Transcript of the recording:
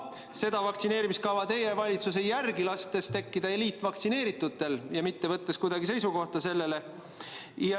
Seda vaktsineerimiskava teie valitsus ei järgi, lastes tekkida eliitvaktsineeritutel ja selle peale seisukohta mitte võttes.